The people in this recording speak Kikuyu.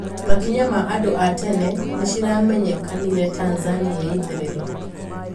Makinya ma andũ a tene niciramenyekanire Tanzania ya itherero.